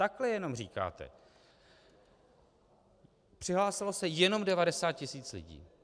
Takhle jenom říkáte "přihlásilo se jenom 90 tisíc lidí".